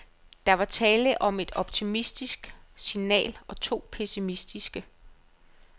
Der var tale om et optimistisk signal og to pessimistiske.